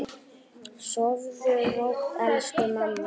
Sofðu rótt, elsku mamma.